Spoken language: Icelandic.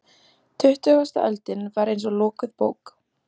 Tuttugasta öldin var eins og lokuð bók.